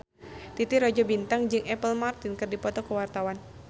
Titi Rajo Bintang jeung Apple Martin keur dipoto ku wartawan